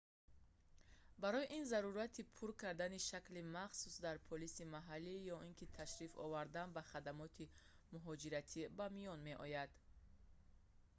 барои ин зарурияти пур кардани шакли махсус дар полиси маҳаллӣ ё ин ки ташриф овардан ба хадамоти муҳоҷиратӣ ба миён меояд